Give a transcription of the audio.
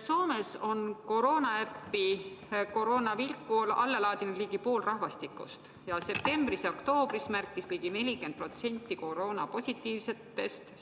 Soomes on koroonaäpi Koronavilkku alla laadinud ligi pool rahvastikust ning septembris ja oktoobris märkis ligi 40% koroonapositiivsetest